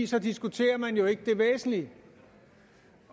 så diskuterer man jo ikke det væsentlige